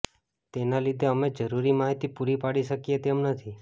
તેના લીધે અમે જરૂરી માહિતી પૂરી પાડી શકીએ તેમ નથી